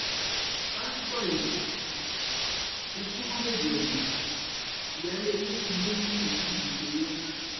pásítọ yìí ti sún mọ bèbè ẹwọn ìyáálé ilé kan ló lù ní jìbìtì owó ńlá